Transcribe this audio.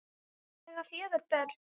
Þau eiga fjögur börn.